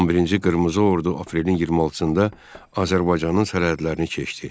11-ci Qırmızı Ordu aprelin 26-da Azərbaycanın sərhədlərini keçdi.